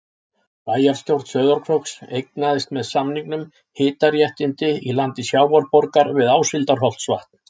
Bæjarstjórn Sauðárkróks eignaðist með samningum hitaréttindi í landi Sjávarborgar við Áshildarholtsvatn.